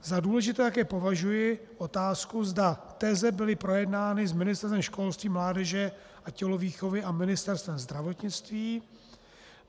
Za důležité také považuji otázku, zda teze byly projednány s Ministerstvem školství, mládeže a tělovýchovy a Ministerstvem zdravotnictví.